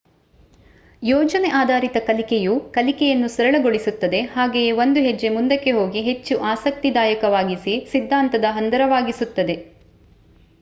ಯೋಜನೆ ಆಧಾರಿತ ಕಲಿಕೆಯು ಕಲಿಕೆಯನ್ನು ಸರಳಗೊಳಿಸುತ್ತದೆ ಹಾಗೆಯೇ ಒಂದು ಹೆಜ್ಜೆ ಮುಂದಕ್ಕೆ ಹೋಗಿ ಹೆಚ್ಚು ಆಸಕ್ತಿದಾಯವಾಗಿಸಿ ಸಿದ್ದಾಂತದ ಹಂದರವಾಗಿಸುತ್ತದೆ ಸ್ಕಾಫೋಲ್ಡಿಂಗ್